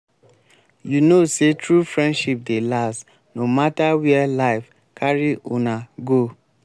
you know sey true friendship dey last no mata where life carry una go.